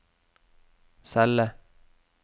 celle